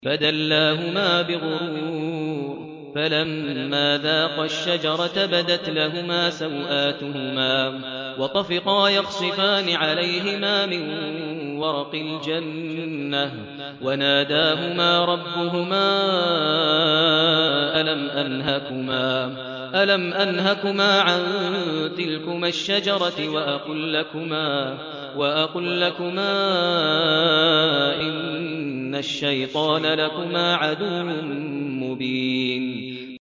فَدَلَّاهُمَا بِغُرُورٍ ۚ فَلَمَّا ذَاقَا الشَّجَرَةَ بَدَتْ لَهُمَا سَوْآتُهُمَا وَطَفِقَا يَخْصِفَانِ عَلَيْهِمَا مِن وَرَقِ الْجَنَّةِ ۖ وَنَادَاهُمَا رَبُّهُمَا أَلَمْ أَنْهَكُمَا عَن تِلْكُمَا الشَّجَرَةِ وَأَقُل لَّكُمَا إِنَّ الشَّيْطَانَ لَكُمَا عَدُوٌّ مُّبِينٌ